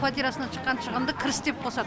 квартирасынан шыққан шығынды кіріс деп қосады